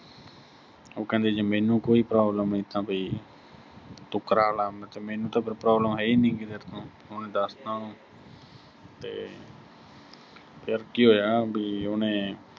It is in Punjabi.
ਉਹ ਕਹਿੰਦੇ ਵੀ ਜੇ ਮੈਨੂੰ ਕੋਈ problem ਨੀਂ ਤਾਂ ਵੀ ਤੂੰ ਕਰਾਲਾ, ਮੈਂ ਕਿਹਾ ਮੈਨੂੰ ਤਾਂ ਕੋਈ problem ਹੈਨੀ ਗੀ ਤੇਰੇ ਤੋਂ, ਉਹਨੇ ਦੱਸ ਤਾਂ ਉਹਨੂੰ ਤੇ ਫਿਰ ਕੀ ਹੋਇਆ ਵੀ ਉਹਨੇ